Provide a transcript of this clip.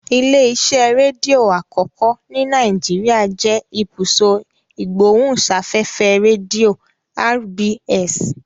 Ilé-iṣẹ́ rédíò àkọ́kọ́ ní Nàìjíríà jẹ́ Ibùsọ̀ Ìgbóhùsáfẹ́fẹ́ Rédíò (RBS).